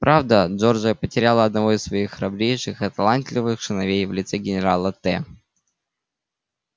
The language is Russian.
правда джорджия потеряла одного из своих храбрейших и талантливейших сыновей в лице генерала т